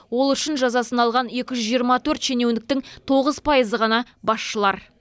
ол үшін жазасын алған екі жүз жиырма төрт шенеуініктің тоғыз пайызы ғана басшылар